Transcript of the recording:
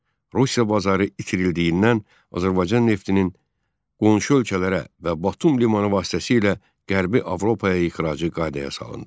Rusiya bazarı itirildiyindən Azərbaycan neftinin qonşu ölkələrə və Batum limanı vasitəsilə Qərbi Avropaya ixracı qaydaya salındı.